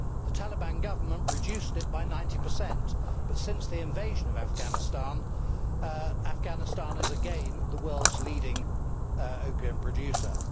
The Taliban government reduced it by 90 but, since the invasion of Afghanistan, Afghanistan is again the world's leading opium producer.